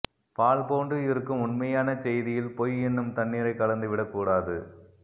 பால் போன்று இருக்கும் உண்மையான செய்தியில் பொய் என்னும் தண்ணீரை கலந்துவிடக் கூடாது